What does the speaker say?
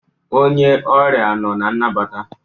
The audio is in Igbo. Onye ọrịa nọ na nnabata